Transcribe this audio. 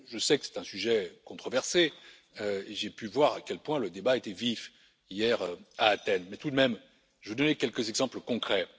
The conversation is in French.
Je sais que c'est un sujet controversé et j'ai pu voir à quel point le débat était vif hier à Athènes mais, tout de même, je vais donner quelques exemples concrets.